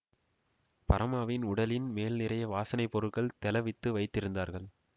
பரமாவின் உடலின் மேல் நிறைய வாசனை பொருள்கள் தௌவித்து வைத்திருந்தார்கள்